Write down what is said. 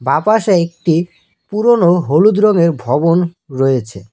আপাশে একটি পুরোনো হলুদ রঙের ভবন রয়েছে।